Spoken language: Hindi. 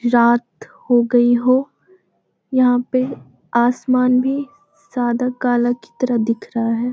रात हो गई हो यहाँ पे आसमान भी सादा काला की तरह दिख रहा है।